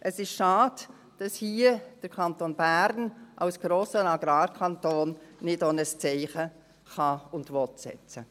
Es ist schade, dass der Kanton Bern als grosser Agrarkanton hier nicht auch ein Zeichen setzen kann und will.